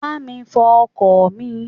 Bá mi fo ọkọ̀ mi.